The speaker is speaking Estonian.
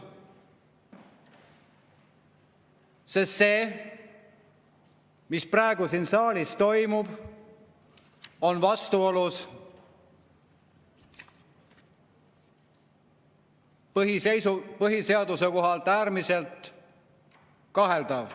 Sest see, mis praegu siin saalis toimub, on vastuolus põhiseadusega, selle seaduse seisukohalt äärmiselt kaheldav.